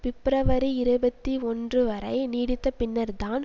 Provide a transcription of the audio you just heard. பிப்ரவரி இருபத்தி ஒன்று வரை நீடித்தபின்னர்தான்